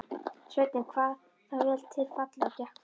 Sveinninn kvað það vel til fallið og gekk fram.